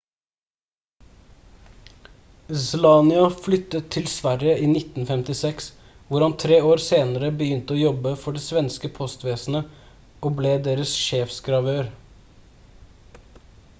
słania flyttet til sverige i 1956 hvor han tre år senere begynte å jobbe for det svenske postvesenet og ble deres sjefsgravør